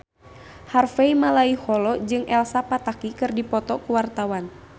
Harvey Malaiholo jeung Elsa Pataky keur dipoto ku wartawan